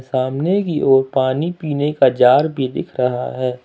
सामने की ओर पानी पीने का जार भी दिख रहा है।